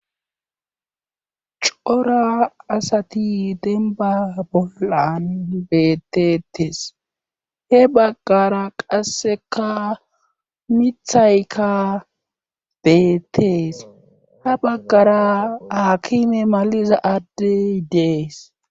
cora asati denba bollan bettetes he baggara qasseka mithaykka beettees ha baggara hakime maliza adde dees